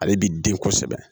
Ale bi den kosɛbɛ